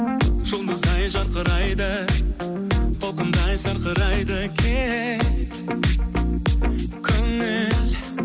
жұлдыздай жарқырайды толқындай сарқырайды кең көңіл